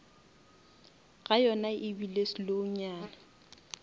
ga yona ebile slow nyana